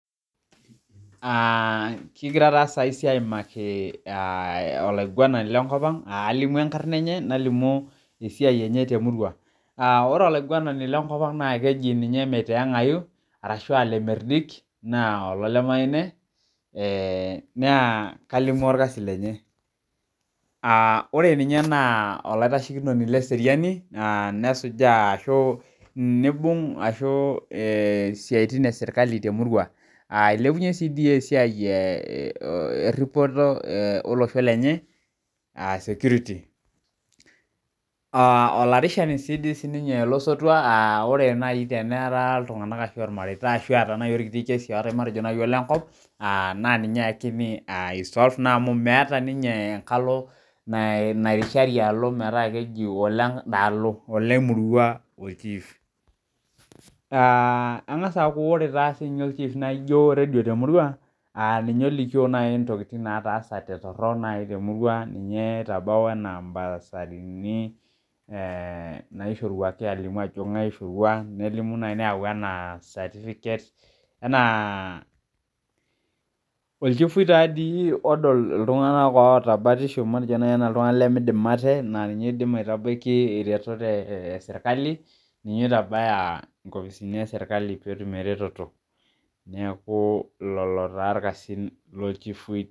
Kigira taa saisi aimaki olaiguanani lenkop ang alimu enkarna enye, nalimu esiai enye temurua. Ore olaiguanani lenkop ang keji ninye meiteeng'ayu, arashu ah lemerdik, naa olole Maine, naa kalimu orkasi lenye. Ore ninye naa olaitashekinoni leseriani, nesujaa ashu nibung ashu isiaitin esirkali temurua. Ilepunye tidi esiai erripoto olosho lenye, ah security. Olarishani si di sininye losotua ah ore nai teneera iltung'anak ashu irmareita ashu eeta nai orkiti kesi ootae matejo nai olenko, na ninye ekini i solve naa amu meeta ninye enkalo nairishari alo metaa keji oledaalo. Ole murua ol chief. Ang'asa aku ore taa sinye ol chief naijo redio temurua, ninye olikio nai ntokiting nataasate torrok nai temurua, ninye oitabau enaa basarini, naishoruaki alimu ajo ng'ae naishorua, nelimu nai neeu enaa certificate, enaa olchifui tadi odol iltung'anak oota batisho matejo nai enaa iltung'anak lemidim ate, na ninye oidim aitabaki iretot esirkali, ninye oitabaya inkopisini eserkali petum ereteto. Neeku lolo taa irkasin lochifui.